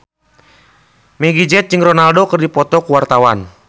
Meggie Z jeung Ronaldo keur dipoto ku wartawan